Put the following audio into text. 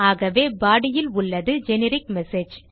ஆகவே பாடி இல் உள்ளது ஜெனரிக் மெசேஜ்